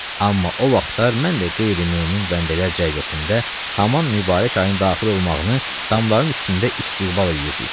Amma o vaxtlar mən də qeyri-mömin bəndələr cərgəsində haman mübarək ayın daxil olmağını damların üstündə istiqbal eləyirdik.